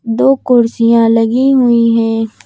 दो कुर्सियां लगी हुई हैं।